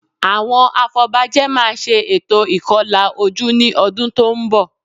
Àwọn afọbajẹ máa ṣe ètò ìkọlà ojú ní ọdún tó ń bọ̀